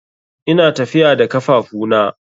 Ina tafiya da kafafuna.